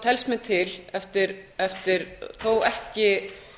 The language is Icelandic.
telst mér til eftir þó ekki